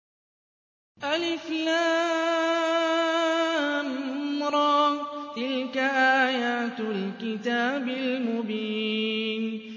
الر ۚ تِلْكَ آيَاتُ الْكِتَابِ الْمُبِينِ